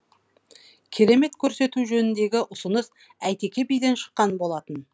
керемет көрсету жөніндегі ұсыныс әйтеке биден шыққан болатын